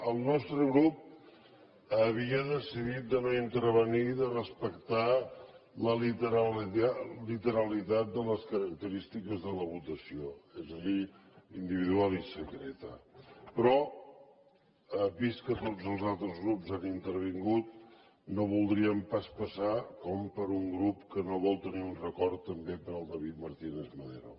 el nostre grup havia decidit de no intervenir i de respectar la literalitat de les característiques de la votació és a dir individual i secreta però vist que tots els altres grups han intervingut no voldríem pas passar com per un grup que no vol tenir un record també per al david martínez madero